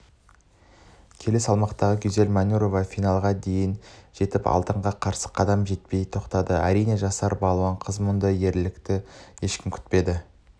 келі салмақтағы гюзель манюрова финалға дейін жетіп алтынға қарыс қадам жетпей тоқтады әрине жасар балуан қыздан мұндай ерлікті ешкім күтпеді